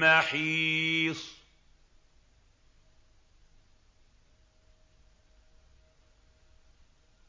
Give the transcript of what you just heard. مَّحِيصٍ